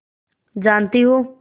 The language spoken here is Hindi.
जानती हो